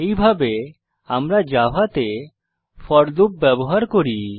এইভাবে আমরা জাভাতে ফোর লুপ ব্যবহার করি